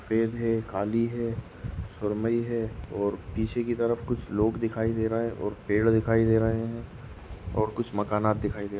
सफ़ेद है काली है सुरमयी है और पीछे की तरफ कुछ लोग दिखाई दे रहे है और पेड़ दिखाई दे रहे है और कुछ मकानात दिखाई दे रहे है।